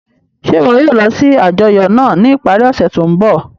Ṣe iwọ yoo lọ si ajọyọ naa ni ipari ose to nbọ?